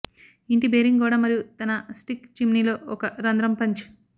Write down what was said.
ఇంటి బేరింగ్ గోడ మరియు తన స్టిక్ చిమ్నీ లో ఒక రంధ్రం పంచ్